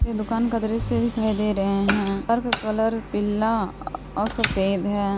ये दुकान का दृश्य दिखाई दे रहे हैं घर का कलर पीला और सफेद है।